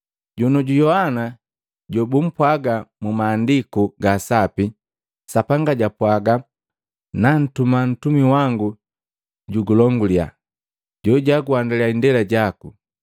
Jonioju Yohana jobumpwaga mu Mahandiku ga Sapi, Sapanga japwaga, ‘Nantuma ntumi wangu jugulongulya, jojaguhandaliya indela jaku.’ ”